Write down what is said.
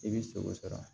I bɛ sogo sɔrɔ